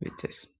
bixees